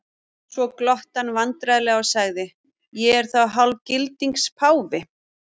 Svo glotti hann vandræðalega og sagði:-Ég er þá hálfgildings páfi?